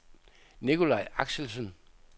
Nicolaj Axelsen